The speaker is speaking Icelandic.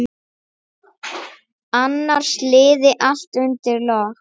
Annars liði allt undir lok.